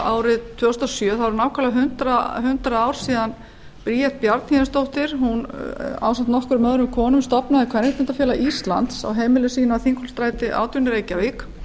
árið tvö þúsund og sjö þá eru nákvæmlega hundrað ár síðan bríet bjarnhéðinsdóttir ásamt nokkrum öðrum konum stofnaði kvenréttindafélag íslands á heimili sínu að þingholtsstræti átján í reykjavík